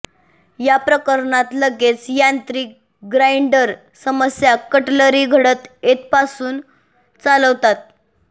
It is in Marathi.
या प्रकरणात लगेच यांत्रिक ग्राइंडर समस्या कटलरी घटक येथपासून चालवतात